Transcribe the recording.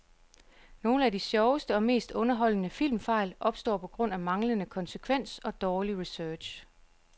Nogle af de sjoveste og mest underholdende filmfejl opstår på grund af manglende konsekvens og dårlig research.